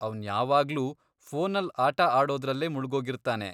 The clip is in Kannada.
ಅವ್ನ್ ಯಾವಾಗ್ಲೂ ಫೋನಲ್ಲ್ ಆಟ ಆಡೋದ್ರಲ್ಲೇ ಮುಳ್ಗೋಗಿರ್ತಾನೆ.